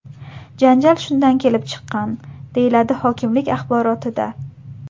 Janjal shundan kelib chiqqan”, deyiladi hokimlik axborotida.